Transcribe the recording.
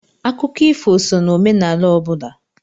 Akụkọ ifo sọ na omenala ọ bụla.